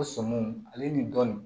O sɔmiw ale ni dɔɔnin